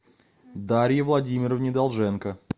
дарье владимировне долженко